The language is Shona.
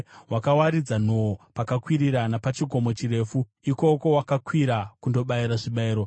Wakawaridza nhoo pakakwirira napachikomo chirefu; ikoko wakakwira kundobayira zvibayiro.